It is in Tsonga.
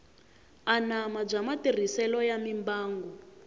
anama bya matirhiselo ya mimbangu